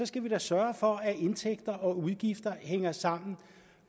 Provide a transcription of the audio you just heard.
skal vi da sørge for at indtægter og udgifter hænger sammen